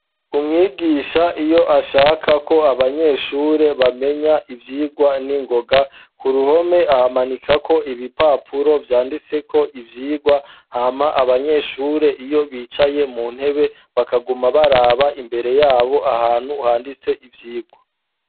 umwigisha iyo ashakako abanyeshure bamenya ivyigwa n'ingoga ku ruhome ahamanika ko ibipapuro vyanditseko ko ivyigwa hama abanyeshure iyo bicaye mu ntebe bakaguma baraba imbere yabo ahantu handitse ivyigwa